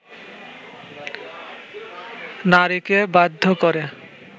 নারীকে বাধ্য করে